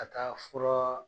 Ka taa fura